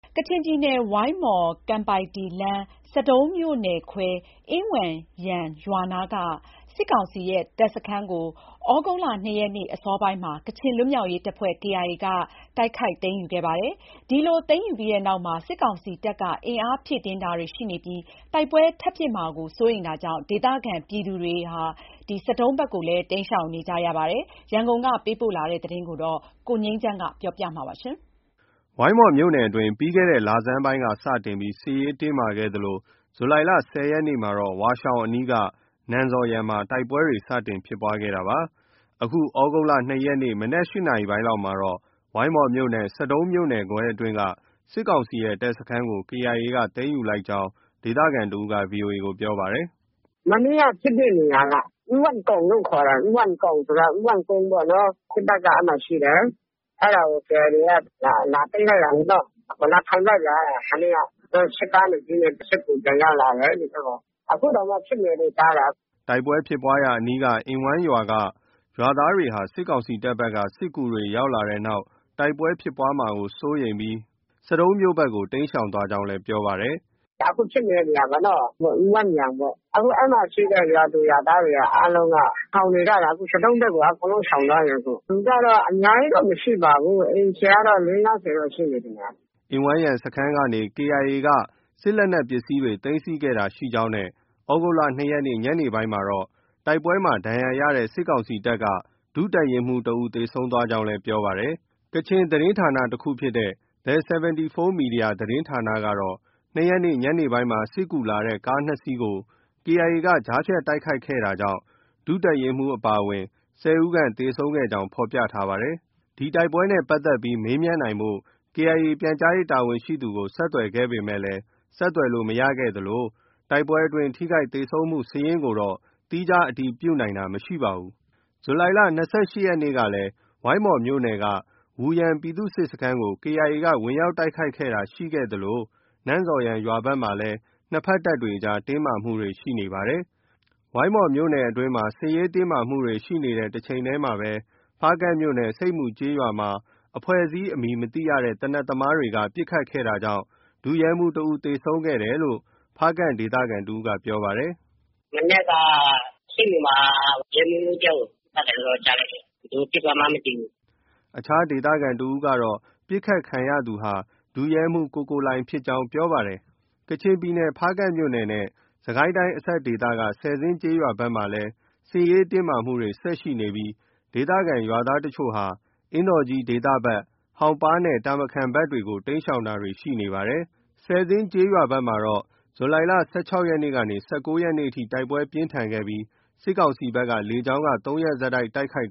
ကချင်ပြည်နယ် ဝိုင်းမော်- ကန်ပိုက်တီလမ်း ဆဒုံးမြို့နယ်ခွဲရှိ အင်ဝမ်းယန်ရွာနားက စစ်ကောင်စီရဲ့တပ်စခန်းကို ဩဂုတ်လ ၂ ရက်နေ့ အစောပိုင်း ကချင်လွတ်မြောက်ရေးတပ်ဖွဲ့ KIA က တိုက်ခိုက်သိမ်းယူခဲ့ပါတယ်။ ဒီလို သိမ်းယူပြီးနောက် စစ်ကောင်စီတပ်က အင်အားဖြည့်တင်းတာတွေရှိနေပြီး တိုက်ပွဲထပ်မှာဖြစ်မှာ စိုးတာကြောင့် ဒေသခံ ပြည်သူတွေဟာ ဆဒုံးဘက်ကို တိမ်းရှောင်နေကြရပါတယ်။ ရန်ကုန်ကပေးပို့တဲ့သတင်း ကိုငြိမ်းချမ်းက တင်ပြပေးထားပါတယ်။ ဝိုင်းမော်မြို့နယ်အတွင်းမှာ ပြီးခဲ့တဲ့လဆန်းပိုင်းကစတင်ပြီး စစ်ရေးတင်းမာခဲ့သလို ဇူလိုင်လ ၁၀ ရက်နေ့မှာတော့ ဝါးရှောင်အနီးက နန်ဇော်ယန်မှာ တိုက်ပွဲတွေ စတင်ဖြစ်ခဲ့တာပါ။ အခု ဩဂုတ်လ ၂ ရက်နေ့ မနက် ၈ နာရီလောက်မှာတော့ ဝိုင်းမော်မြို့နယ် ဆဒုံးမြို့နယ်ခွဲအတွင်းက စစ်ကောင်စီရဲ့ တပ်စခန်းကို KIA က သိမ်းယူလိုက်ကြောင်း ဒေသခံတဦးက VOA ကို ပြောပါတယ်။ “မနေ့က ဖြစ်တဲ့နေရာက အင်ဝမ်းကောင် လို့ ခေါ်တယ်။ အင်ဝမ်းကောင်ဆိုတာ အင်ဝမ်းကုန်းပေါ့နော်။ စစ်တပ်က အဲဒီမှာ ရှိတယ်။ အဲဒါကို KIA တွေက လာသိမ်းလိုက်တာလေ။ လာထိုင်ပစ်လိုက်တာ မနေ့က။ သူတို့ စစ်ကား နှစ်စီးနဲ့ စစ်ကူပြန်ရောက်လာတယ်။ အခုတောင်မှ ဖြစ်နေတယ်လို့ ကြားတာ။” တိုက်ပွဲဖြစ်ပွားရာအနီးက အင်ဝမ်းယန်ရွာက ရွာသားတွေဟာ စစ်ကောင်စီတပ်ဘက်က စစ်ကူတွေ ရောက်လာတဲ့နောက် တိုက်ပွဲဖြစ်ပွားမှာကို စိုးရိမ်ပြီး ဆဒုံးမြို့ ဘက်ကို တိမ်းရှောင်သွားကြောင်းလည်း ပြောပါတယ်။ “ အခုဖြစ်နေတဲ့နေရာပေါ့။ အင်ဝမ်းယန်ပေါ့။ အခု အဲဒီမှာရှိတဲ့ ရွာသူရွာသားတွေအားလုံးက ရှောင်နေကြတာ။ အခု ဆဒုံးဘက်ကို အကုန်လုံးရှောင်သွားပြီ။ လူကတော့အများကြီးတော့ မရှိပါဘူး။ အိမ်ခြေကတော့ ၄၀- ၅၀ တော့ရှိမယ်ထင်တယ်။ ” အင်ဝမ်းယန်စခန်းကနေ KIA က စစ်လက်နက်ပစ္စည်းတွေ သိမ်းဆည်းခဲ့တာရှိကြောင်း နဲ့ ဩဂုတ်၂ ရက်နေ့ ညနေပိုင်းမှာတော့ တိုက်ပွဲမှာ ဒဏ်ရာရတဲ့ စစ်ကောင်စီတပ်က ဒုတပ်ရင်းမှူးတဦး သေဆုံးသွားကြောင်းလည်း ပြောပါတယ်။ ကချင်သတင်းဌာနတခုဖြစ်တဲ့ The 74 Media သတင်းဌာနကတော့ ၂ ရက်နေ့ ညနေပိုင်းမှာစစ်ကူလာတဲ့ ကားနှစ်စီးကို KIA က ကြားဖြတ်တိုက်ခိုက်ခဲ့တာကြောင့် ဒုတပ်ရင်းမှူးအပါအဝင် ၁၀ ဦးခန့်သေဆုံးခဲ့ကြောင်း ဖော်ပြထားပါတယ်။ ဒီတိုက်ပွဲနဲ့ပတ်သက်ပြီး မေးမြန်းနိုင်ဖို့ KIA ပြန်ကြားရေးတာဝန်ရှိသူကို ဆက်သွယ် ခဲ့ပေမယ့် ဆက်သွယ်လို့မရခဲ့သလို တိုက်ပွဲအတွင်း ထိခိုက်သေဆုံးမှုစာရင်းကိုတော့ သီးခြား အတည်ပြုနိုင်တာမရှိပါဘူး။ ဇူလိုင်လ ၂၈ ရက်နေ့ကလည်း ဝိုင်းမော်မြို့နယ်က ဝူယန်ပြည်သူ့စစ်စခန်းကို KIA က ဝင်ရောက်တိုက်ခိုက်တာရှိခဲ့သလို နန်ဇော်ယန်ရွာဘက်မှာလည်း နှစ်ဘက် တပ်တွေ အကြား တင်းမာမှုတွေ ရှိနေပါတယ်။ ဝိုင်းမော်မြို့နယ်အတွင်းမှာ စစ်ရေးတင်းမာနေတဲ့တချိန်တည်းမှာတော့ ဖားကန့်မြို့နယ် ဆိပ်မူကျေးရွာမှာ အဖွဲ့အစည်းအမည်မသိရတဲ့ သေနတ်သမားတွေက ပစ်ခတ်တာကြောင့် ဒုရဲမှူးတဦး သေဆုံးခဲ့တယ်လို့ ဖားကန့်ဒေသခံတဦးက ပြောပါတယ်။ “ မနက်က ဆိပ်မူမှာ ရဲမှူးတယောက်ကို ပစ်သွားတယ်လို့တော့ ကြားလိုက်တယ်။ ဘယ်သူပစ်သွားမှန်းတော့ မသိဘူး။” အခြားဒေသခံတဦးကတော့ ပစ်ခတ်ခံရသူဟာ ဒုရဲမှူး ကိုကိုလှိုင်ဖြစ်ကြောင်း ပြောပါတယ်။ ဖားကန့်မြို့နယ် ကချင်ပြည်နယ်နဲ့ စစ်ကိုင်းတိုင်းအစပ်ဒေသက ဆယ်ဇင်းကျေးရွာ ဘက်မှာလည်း စစ်ရေးတင်းမာမှုတွေ ဆက်ရှိနေပြီး ဒေသခံရွာသားအချို့ဟာ အင်းတော်ကြီးဒေသဘက်၊ ဟောင်ပါးနဲ့ တာမခန်ဘက်တွေကို တိမ်းရှောင်တာတွေ ရှိနေပါတယ်။ ဆယ်ဇင်းကျေးရွာဘက်မှာတော့ ဇူလိုင်လ ၁၆ ရက်ကနေ ၁၉ ရက်နေ့အထိ တိုက် ပွဲ ပြင်းထန်ခဲ့ပြီး စစ်ကောင်စီဘက်က လေကြောင်းက ၃ ရက်ဆက် တိုက်ခိုက်